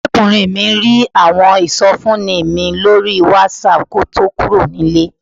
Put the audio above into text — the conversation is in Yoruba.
Ọ̀rẹ́kùnrin mi rí àwọn ìsọfúnni mi lórí Whatsapp kí ó tó kúrò nílé